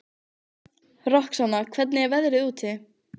Roxanna, hvernig er veðrið úti?